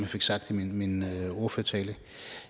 fik sagt i min ordførertale